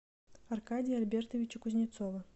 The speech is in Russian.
аркадия альбертовича кузнецова